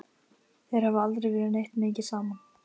Þeir hafa aldrei verið neitt mikið saman.